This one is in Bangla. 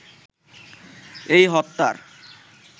এই হত্যার